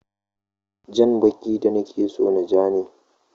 Jan baki da nake so ja ne.